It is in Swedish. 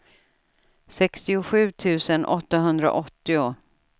sextiosju tusen åttahundraåttio